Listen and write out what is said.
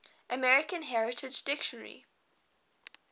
american heritage dictionary